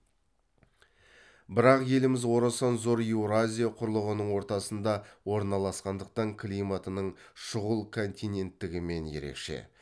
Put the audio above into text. бірақ еліміз орасан зор еуразия құрлығының ортасында орналасқандықтан климатының шұғыл континенттігімен ерекше